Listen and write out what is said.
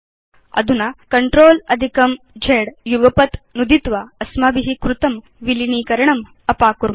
अधुना CTRLZ युगपत् नुदित्वा अस्माभि कृतं विलीनीकरणम् अपाकुर्म